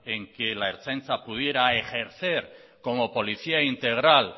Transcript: en que la ertzaintza pudiera ejercer como policía integral